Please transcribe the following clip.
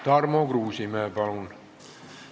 Tarmo Kruusimäe, palun!